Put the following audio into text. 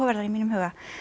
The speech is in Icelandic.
í mínum huga